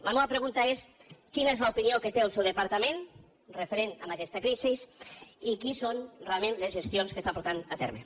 la meua pregunta és quina és l’opinió que té el seu departament referent a aquesta crisi i quines són realment les gestions que està portant a terme